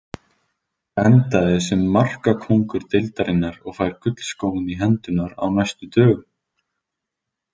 Endaði sem markakóngur deildarinnar og fær gullskóinn í hendurnar á næstu dögum.